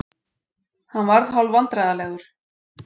Hann varð hálfvandræðalegur.